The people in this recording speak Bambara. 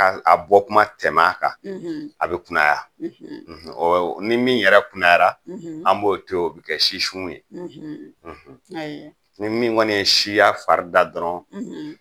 Bɔ kuma tɛmɛ a kan a be kunaya ni min yɛrɛ kunayara an b'o to o be kɛ sisu ye ni kɔni ye siya farida dɔrɔn